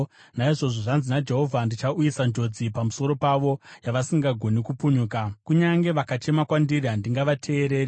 Naizvozvo zvanzi naJehovha, ‘Ndichauyisa njodzi pamusoro pavo yavasingagoni kupunyuka. Kunyange vakachema kwandiri handingavateereri.